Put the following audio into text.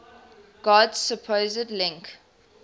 god's supposed link